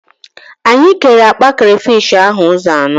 Anyị kere akpa krafish ahụ ụzọ anọ